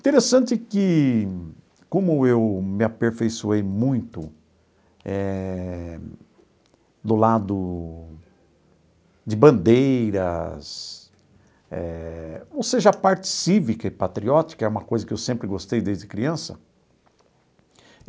Interessante que, como eu me aperfeiçoei muito eh do lado de bandeiras eh, ou seja, a parte cívica e patriótica é uma coisa que eu sempre gostei desde criança.